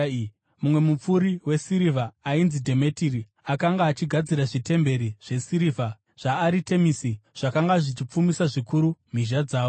Mumwe mupfuri wesirivha ainzi Dhemetiri akanga achigadzira zvitemberi zvesirivha zvaAritemisi, zvakanga zvichipfumisa zvikuru mhizha dzavo.